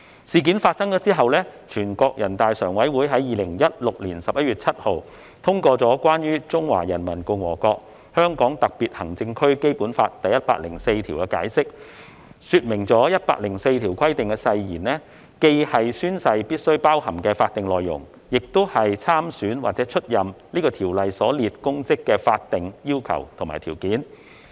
事件發生後，全國人民代表大會常務委員會在2016年11月7日通過《關於〈中華人民共和國香港特別行政區基本法〉第一百零四條的解釋》，說明第一百零四條規定的誓言既是宣誓必須包含的法定內容，亦是參選或出任此條所列公職的法定要求和條件。